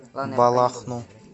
балахну